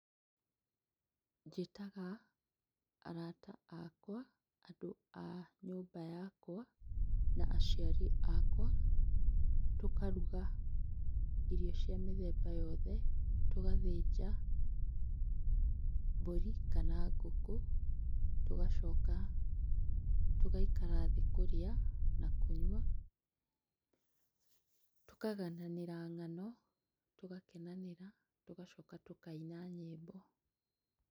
Njĩtaga arata akwa, andũ a nyũmba yakwa na aciari akwa, tũkarũga irio cia mĩthemba yothe tũgathĩnja mbũri kana ngũkũ, tũgacoka tũgaikara thĩ kũrĩa na kũnyua, tũkagananĩra ng'ano, tũgakenanĩra, tũgacoka tũkaina nyĩmbo.